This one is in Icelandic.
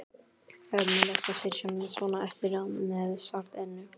Ömurlegt að sitja svona eftir með sárt ennið.